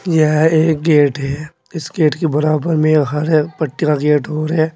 यह एक गेट है इस गेट के बराबर में एक घर है पट्टे का गेट और है।